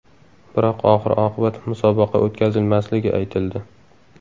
Biroq oxir-oqibat musobaqa o‘tkazilmasligi aytildi.